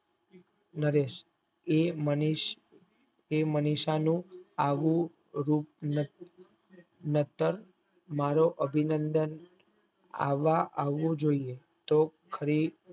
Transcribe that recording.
નરેશ એ માનીશ એ મનીષા નું આવું રૂપ નાતો મારો અભિનંદન આવો જોયે તોહ ખરી